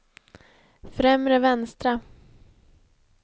främre vänstra